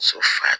So fa